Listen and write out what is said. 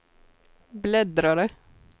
bläddrare